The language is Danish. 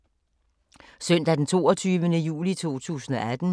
Søndag d. 22. juli 2018